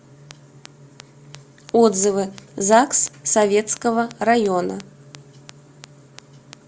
отзывы загс советского района